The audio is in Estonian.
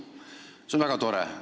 See on väga tore!